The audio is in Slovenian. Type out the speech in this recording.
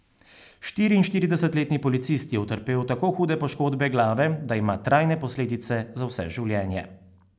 Štiriinštiridesetletni policist je utrpel tako hude poškodbe glave, da ima trajne posledice za vse življenje.